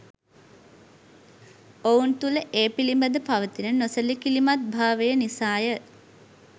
ඔවුන් තුළ ඒ පිළිබඳ පවතින නොසැලකිලිමත්භාවය නිසාය.